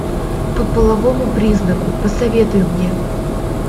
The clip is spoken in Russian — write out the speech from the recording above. по половому признаку посоветуй мне